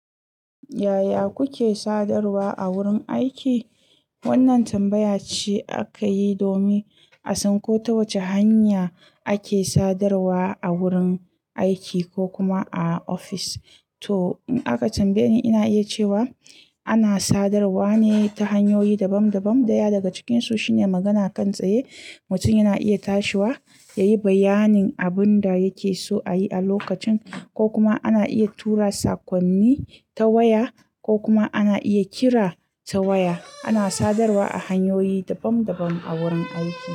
Yaya kuke sadarwa a wurin aiki? Wannan tambaya ce aka yi domin a san ko ta wace hanya ake sadarwa a wurin aiki ko kuma a ofis. To in aka tambaye ni, ina iya cewa ana sadarwa ne ta hanyoyi daban daban, daya daga cikinsu shine magana kan tsaye, mutum yana iya tashiwa ya yi bayanin abin da yake so a yi a lokacin, ko kuma ana iya tura sakonni ta waya ko kuma ana iya kira ta waya. Ana sadarwa a hanyoyi daban daban a wurin aiki.